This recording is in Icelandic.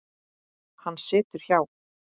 Hann situr hjá